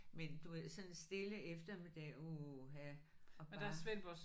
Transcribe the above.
Men du ved sådan en stille eftermiddag uha og bare